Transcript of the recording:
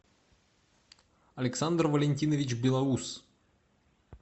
александр валентинович белоус